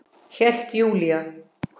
Hélt Júlía.